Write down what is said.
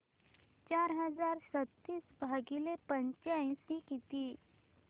चार हजार सदतीस भागिले पंच्याऐंशी किती